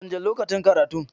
Canja lokacin karatun.